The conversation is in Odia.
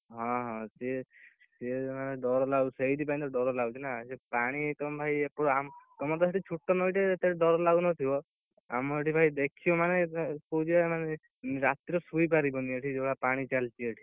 ହଁ, ହଁ, ସିଏ ସିଏ ମାନେ ଡ଼ର ଲାଗୁଛି, ସେଇଥିପାଇଁ ତ ଡ଼ର ଲାଗୁଛି ନା, ସେ ପାଣି ତମ ଭାଇ ତମର ତ ସେପଟେ ଛୋଟ ନଈଟେ ଡ଼ର ଲାଗୁନଥିବ, ଆମ ଏଠି ଭାଇ ଦେଖିବ ମାନେ, କହୁଚି ବା ରାତିରେ ଶୋଇ ପାରିବନି ଏଠି ଯୋଉ ଭଳିଆ ପାଣି ଚାଲିଛି ଏଠି।